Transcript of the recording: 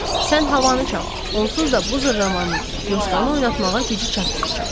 Sən havanı çal, onsuz da bu zırramanın Yoskanı oynatmağa gücü çatmır.